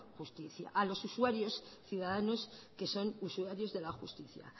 justicia a los usuarios ciudadanos que son usuarios de la justicia